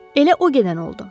Elə o gedən oldu.